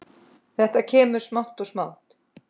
Þetta kemur smátt og smátt.